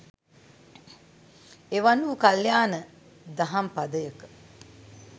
එවන් වූ කල්‍යාණ දහම් පදයක